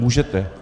Můžete.